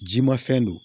Ji ma fɛn don